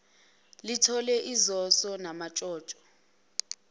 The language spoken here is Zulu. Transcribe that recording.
lithole izoso namantshontsho